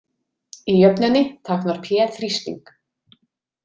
Í jöfnunni táknar P þrýsting.